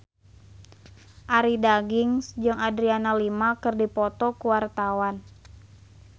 Arie Daginks jeung Adriana Lima keur dipoto ku wartawan